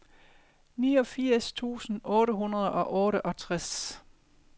niogfirs tusind otte hundrede og otteogtres